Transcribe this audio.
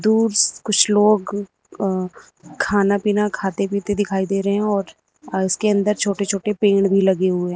कुछ लोग अ खाना पीना खाते पीते दिखाई दे रहे हैं और उसके अंदर छोटे छोटे पेड़ भी लगे हुए है।